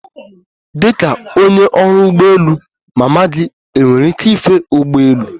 Dịka onye ọrụ ụgbọ elu, mama gị enwere ike ife ụgbọelu?